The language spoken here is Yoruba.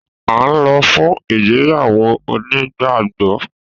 A nlo fún ìgbéyàwó onígbàgbó